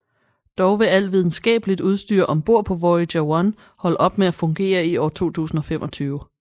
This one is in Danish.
Dog vil al videnskabeligt udstyr ombord på Voyager 1 holde op med at fungere i år 2025